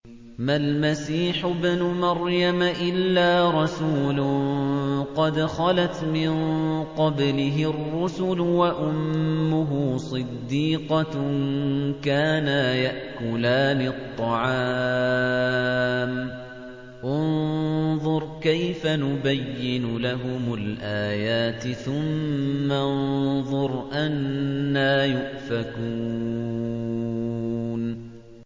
مَّا الْمَسِيحُ ابْنُ مَرْيَمَ إِلَّا رَسُولٌ قَدْ خَلَتْ مِن قَبْلِهِ الرُّسُلُ وَأُمُّهُ صِدِّيقَةٌ ۖ كَانَا يَأْكُلَانِ الطَّعَامَ ۗ انظُرْ كَيْفَ نُبَيِّنُ لَهُمُ الْآيَاتِ ثُمَّ انظُرْ أَنَّىٰ يُؤْفَكُونَ